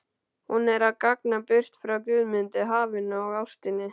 Hún er að ganga burt frá Guðmundi, hafinu og ástinni.